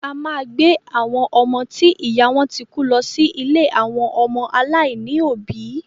A máa gbé àwọn ọmọ ti ìyá wọn ti kú lọ sí ilé àwọn ọmọ aláìní òbí